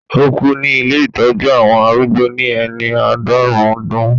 Ó kú ní ilé ìtọ́jú àwọn arúgbó ní ẹni àádọ́rùn-ún ọdún